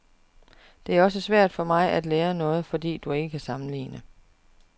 Det er også svært for mig at lære noget, fordi du ikke kan sammenligne.